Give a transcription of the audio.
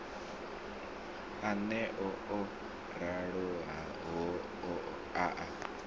aneo o raloho a a